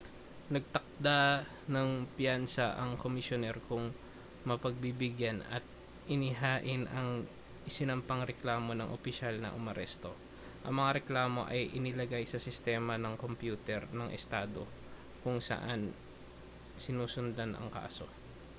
nagtakda ng piyansa ang komisyoner kung mapagbibigyan at inihain ang isinampang reklamo ng opisyal na umaresto ang mga reklamo ay inilagay sa sistema ng kompyuter ng estado kung saan sinusundan ang kaso